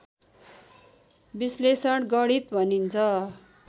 विश्लेषण गणित भनिन्छ